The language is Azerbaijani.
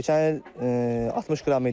Keçən il 60 qram idi.